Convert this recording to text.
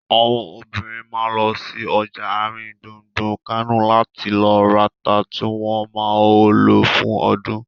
Àwọn obìnrin ma lọ sí ọjà àrin gbùngbùn Kánò láti lọ rata tí wọ́n ma lò fún ọdún